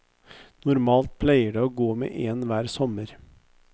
Normalt pleier det å gå med én hver sommer.